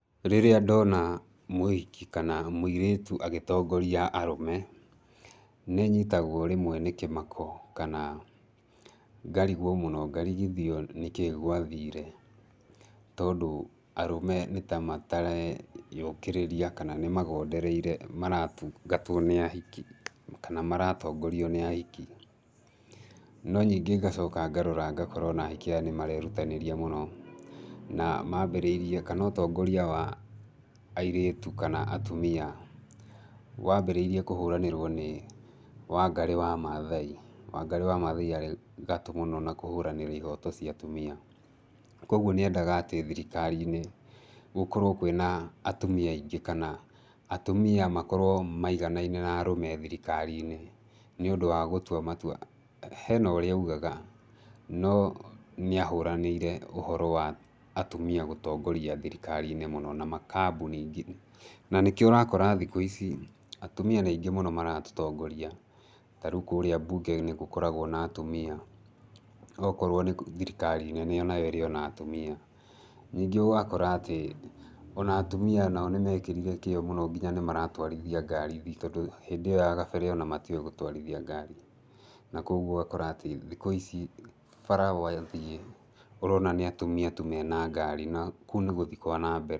Rĩrĩa ndona mũhiki kana mũirĩtũ agĩtongoria arũme, nĩnyitagwo rĩmwe nĩ kĩmako, kana ngarigwo mũno ngarigithio nĩkĩĩ gwathire, tondũ arũme nĩtamatareyũkĩrĩria kana nĩmagondereire maratũngatwo nĩ ahiki, kana maratongorio nĩ ahiki. No ningĩ ngacoka ngarora ngakora ona ahiki aya nĩmarerũtanĩria mũno, na mambĩrĩirie kana ũtongoria wa airĩtũ kana atũmia, wambĩrĩirie kũhũranĩrwo nĩ Wangari wa Mathai. Wangari wa Matha arĩ gatũ mũno na kũhũranĩra ihoto cia atũmia. Koguo nĩendaga atĩ thirikari-inĩ gũkorwo kwĩna atũmia aingĩ kana, atũmia makorwo maiganaine na arũme thirikari-inĩ, nĩundũ wa gũtũa matũa. Hena ũrĩa aũgaga, no nĩahũranĩire ũhorũ wa atũmia gũtongoria thirikari-inĩ mũno na makambũni. Na nĩkĩo ũrakora thikũ ici atũmia nĩ aingĩ mũno maratũtongoria, tarĩũ kũrĩa mbũnge nĩgũkoragwo na atũmia. Okorwo nĩ thirikari-inĩ nĩyo nayo ĩrĩ ona atũmia. Ningĩ ũgakora atĩ ona atũmia nao nĩmekĩrire kĩo mũno nginya nĩmaratwarithia ngari, tondũ hĩndĩ ĩyo ya gabere ona matiowĩ gũtwarithia ngari, na koguo ũgakora atĩ thikũ ici bara wathiĩ ũrona nĩ atũmia tũ mena ngari na kũu nĩ gũthiĩ kwa nambere.